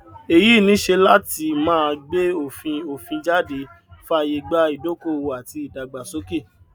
èyí níṣe láti máa gbé òfin òfin jáde fàyè gba ìdókòwò àti ìdàgbàsókè